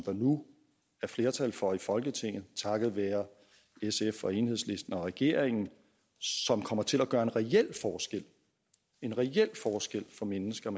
der nu er flertal for i folketinget takket være sf og enhedslisten og regeringen og som kommer til at gøre en reel en reel forskel for mennesker